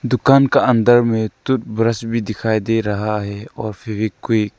दुकान का अंदर में टूथ ब्रश भी दिखाई दे रहा है और फेवीक्विक --